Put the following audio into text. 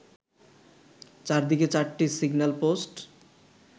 চার দিকে চারটি সিগন্যাল পোস্ট